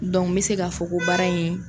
n bɛ se ka fɔ ko baara in ye